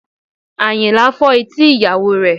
Àyìnlá fọ́ etí ìyàwó rẹ̀